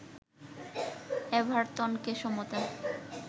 এভারটনকে সমতা